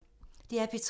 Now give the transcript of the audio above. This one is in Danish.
DR P3